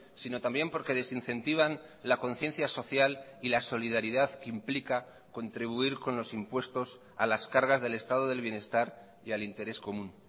sino también porque desincentivan la conciencia social y la solidaridad que implica contribuir con los impuestos a las cargas del estado del bienestar y al interés común